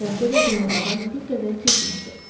Bəlkə də günortadan bir qədər keçmişdi.